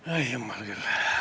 Ai, jummal küll!